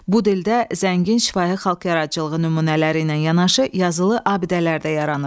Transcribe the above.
Bu dildə zəngin şifahi xalq yaradıcılığı nümunələri ilə yanaşı yazılı abidələr də yaranıb.